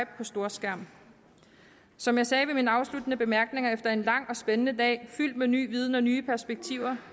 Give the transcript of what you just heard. på storskærm som jeg sagde ved mine afsluttende bemærkninger efter en lang og spændende dag fyldt med ny viden og nye perspektiver